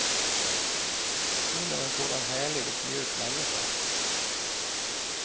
Hon är en sådan härlig och mjuk människa.